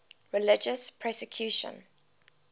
religious persecution